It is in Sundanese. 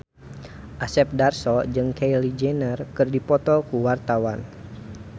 Asep Darso jeung Kylie Jenner keur dipoto ku wartawan